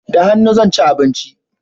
Da hannu zan ci abinci